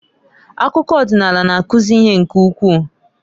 Akụkọ ọdịnaala na-akuzi ihe nke ukwu.